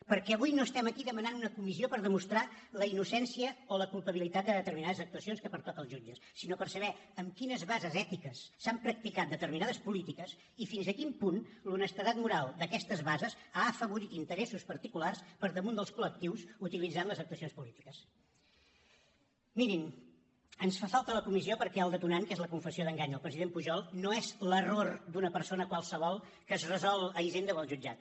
perquè avui no estem aquí demanant una comissió per demostrar la innocència o la culpabilitat de determinades actuacions que pertoquen als jutges sinó per saber amb quines bases ètiques s’han practicat determinades polítiques i fins a quin punt l’honestedat moral d’aquestes bases ha afavorit interessos particulars per damunt dels colmirin ens fa falta la comissió perquè el detonant que és la confessió d’engany del president pujol no és l’error d’una persona qualsevol que es resol a hisenda o al jutjat